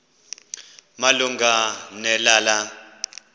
malunga ne lala